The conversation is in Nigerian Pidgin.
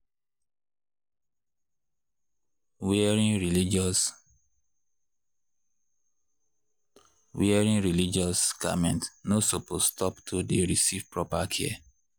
. wearing religious. wearing religious garments no supose stop to dey receive proper care.